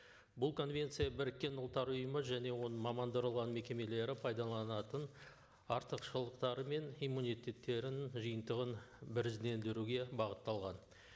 бұл конвенция біріккен ұлттар ұйымы және оның мамандырылған мекемелері пайдаланатын артықшылықтары мен иммунитеттерінің жиынтығын біріздендіруге бағытталған